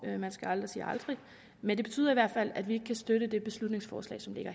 man skal aldrig sige aldrig men det betyder i hvert fald at vi ikke kan støtte det beslutningsforslag som ligger